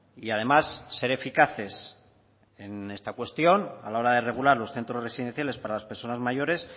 y además ser eficaces en esta cuestión a la hora de regular los centros residenciales para las personas mayores